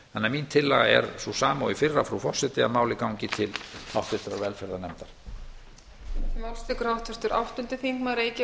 þannig að mín tillaga er sú sama og í fyrra frú forseti að málið gangi til háttvirtrar velferðarnefndar